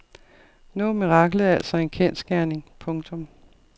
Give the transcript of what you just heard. Nu er miraklet altså en kendsgerning. punktum